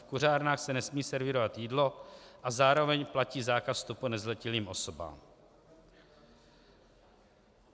V kuřárnách se nesmí servírovat jídlo a zároveň platí zákaz vstupu nezletilým osobám.